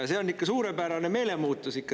See on ikka suurepärane meelemuutus.